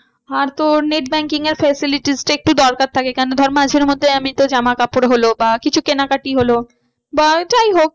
আর তোর net banking এর facilities টা একটু দরকার থাকে কেন ধর মাঝের মধ্যে আমি তো জামাকাপড় হলো বা কিছু কেনাকাটি হলো বা যাই হোক